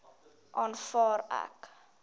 aanvaar ek